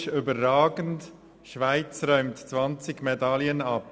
Historisch überragend – Schweiz räumt 20 Medaillen ab».